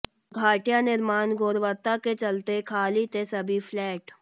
घटिया निर्माण गुणवत्ता के चलते खाली थे सभी फ्लैट